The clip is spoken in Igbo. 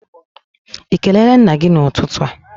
Ị kelere nna gị n'ụtụtụ a?